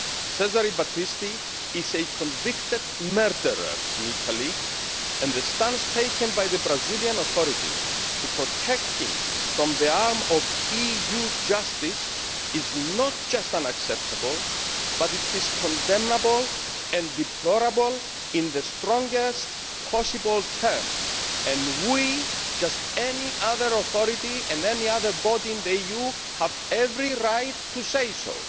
Cesare Battisti is a convicted murderer in Italy, and the stance taken by the Brazilian authorities to protect him from the reach of EU justice is not only unacceptable but also condemnable and deplorable in the strongest possible terms and we, and any other authority and any other body in the EU, have every right to say so.